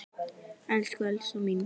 Elsku Elsa mín.